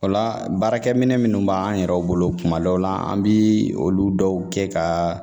O la baarakɛminɛn minnu b'an yɛrɛ bolo kuma dɔw la an bɛ olu dɔw kɛ ka